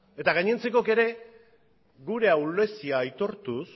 eta gainontzekoek ere gure ahulezia aitortuz